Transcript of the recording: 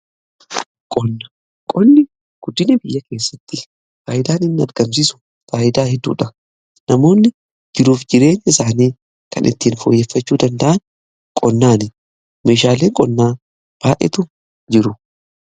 Qonni guddini biyya keessatti faayidaan inni argamsiisu faayidaa hedduudha. Namoonni jiruuf jireenya isaanii kan ittiin fooyyeffachuu danda'an qonnaani. Meeshaaleen qonnaa baay'eetu jiru.